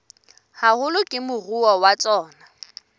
haholo ke moruo wa tsona